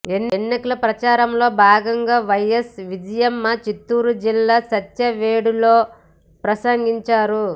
ఎన్నికల ప్రచారంలో భాగంగా వైఎస్ విజయమ్మ చిత్తూరు జిల్లా సత్యవేడులో ప్రసంగించారు